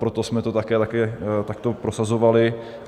Proto jsme to také takto prosazovali.